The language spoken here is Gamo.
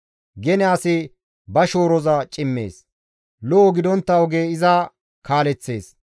Gene asi ba shooroza cimmees; lo7o gidontta oge iza kaaleththees.